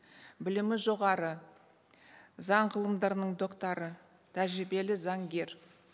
білімі жоғары заң ғылымдарының докторы тәжірибелі заңгер